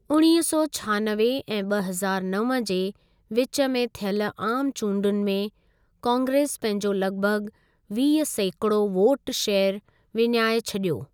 उणिवींह सौ छहानवे ऐं ॿ हज़ारु नव जे विच में थियल आम चूंडुनि में कांग्रेस पंहिंजो लॻभॻ वीह सैकिड़ो वोट शेयर विञाए छॾियो।